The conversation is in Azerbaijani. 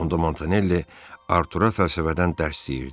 Onda Montanelli Artur'a fəlsəfədən dərs deyirdi.